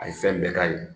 A ye fɛn bɛɛ k'a ye